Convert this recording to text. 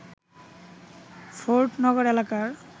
ফোর্ডনগর এলাকার